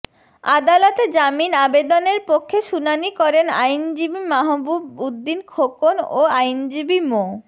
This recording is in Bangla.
আদালতে জামিন আবেদনের পক্ষে শুনানি করেন আইনজীবী মাহবুব উদ্দিন খোকন ও আইনজীবী মো